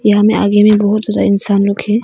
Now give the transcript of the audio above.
यहां मे आगे में बहुत सारा इंसान लोग है।